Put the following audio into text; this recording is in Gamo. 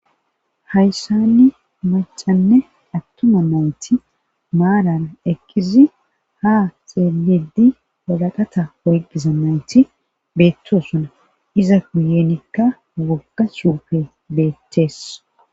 Hayssani macanne attuma nawuti maalara ekkizi ha xeelidi walaqata oyqqiza nawuti beettosuna iza guyenikka wogga shuufe beettees